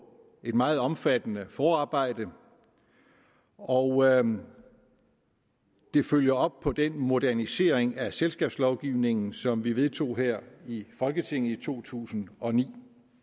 et meget omfattende forarbejde og det følger op på den modernisering af selskabslovgivningen som vi vedtog her i folketinget i to tusind og ni